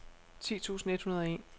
ti tusind et hundrede og en